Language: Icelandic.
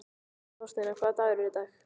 Þorsteina, hvaða dagur er í dag?